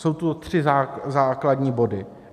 Jsou tu tři základní body.